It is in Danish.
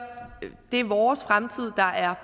det er vores fremtid der er